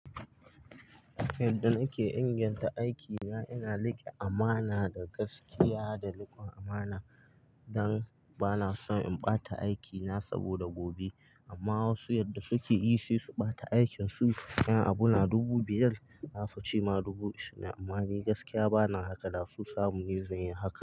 Yadda nake inganta aiki na, ina riƙe amana da gaskiya da riƙon amana, don bana son in ɓata aikina saboda gobe. Amma wasu yadda suke yi sai su ɓata aikin su. Yan abu na dubu biyar zasu ci ma dubu ishu. Amma ni gaskiya bana haka da su samu yanzu yin haka.